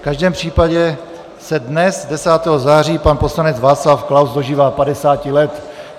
V každém případě se dnes 10. září pan poslanec Václav Klaus dožívá 50 let.